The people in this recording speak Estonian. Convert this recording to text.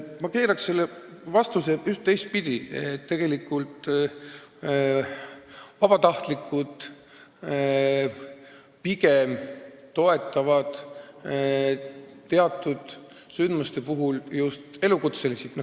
Ma keeraksin selle teistpidi: pigem just vabatahtlikud toetavad teatud juhtumite korral elukutselisi.